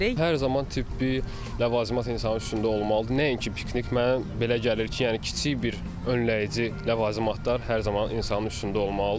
Hər zaman tibbi ləvazimat insanın üstündə olmalıdır, nəinki piknik, mənə belə gəlir ki, yəni kiçik bir önləyici ləvazimatlar hər zaman insanın üstündə olmalıdır.